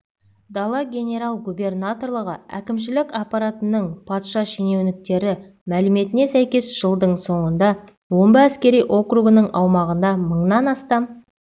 дала генерал-губернаторлығы әкімшілік аппаратының патша шенеуніктері мәліметіне сәйкес жылдың соңында омбы әскери округінің аумағында мыңнан астам